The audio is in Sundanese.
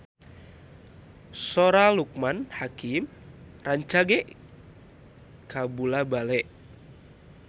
Sora Loekman Hakim rancage kabula-bale